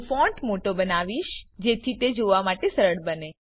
હું ફોન્ટ મોટો બનાવીશ જેથી તે જોવા માટે સરળ બને